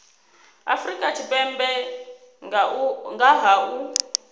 afrika tshipembe nga ha u